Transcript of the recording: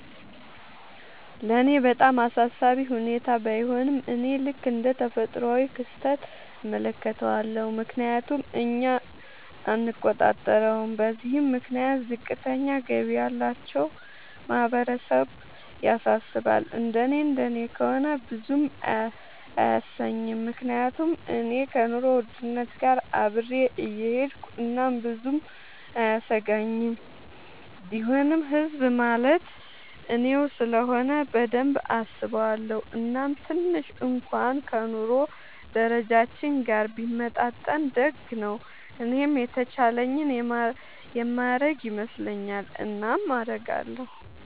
ለኔ በጣም አሳሳቢ ሁኔታ ባይሆንም፤ እኔ ልክ እንደ ተፈጥሯዊ ክስተት እመለከተዋለሁ፤ ምክንያቱም እኛ አንቆጣጠረውም። በዚህም ምክንያት ዝቅተኛ ገቢ ያላቸው ማህበረሰብ ያሳስባል፤ እንደኔ እንደኔ ከሆነ ብዙም አያሰኘኝም፤ ምክንያቱም እኔ ከኑሮ ውድነት ጋር አብሬ እሆዳለኹ እናም ብዙም አያሰጋኝም፤ ቢሆንም ህዝብ ማለት እኔው ስለሆነ በደንብ አስበዋለው፤ እናም ትንሽ እንኩዋን ከ ኑሮ ደረጃችን ጋር ቢመጣጠን ደግ ነው። እኔም የተቻለኝን የማረግ ይመስለኛል። እናም አረጋለው።